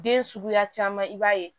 Den suguya caman i b'a ye